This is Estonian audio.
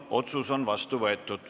Otsus on vastu võetud.